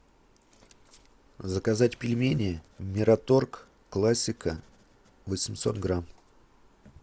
заказать пельмени мираторг классика восемьсот грамм